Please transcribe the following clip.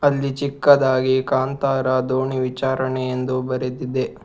ಅಲ್ಲಿ ಚಿಕ್ಕದಾಗಿ ಕಾಣ್ತಾರ ದೋಣಿ ವಿಚಾರಣೆಯೆಂದು ಬರೆದಿದ್ದೆ.